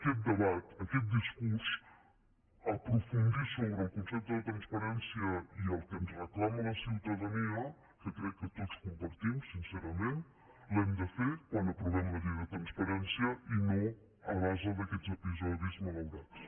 aquest debat aquest discurs aprofundir sobre el concepte de transparència i el que ens reclama la ciutadania que crec que tots compartim sincerament l’hem de fer quan aprovem la llei de transparència i no a base d’aquests episodis malaurats